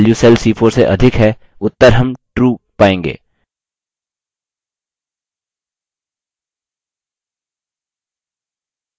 चूँकि cell c3 की value cell c4 से अधिक है उत्तर हम true पायेंगे